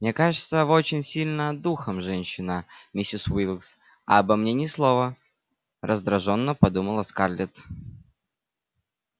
мне кажется вы очень сильная духом женщина миссис уилкс а обо мне ни слова раздражённо подумала скарлетт